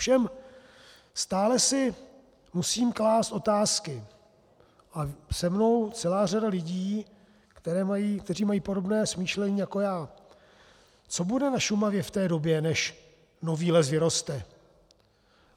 Ovšem stále si musím klást otázky a se mnou celá řada lidí, kteří mají podobné smýšlení jako já: Co bude na Šumavě v té době, než nový les vyroste?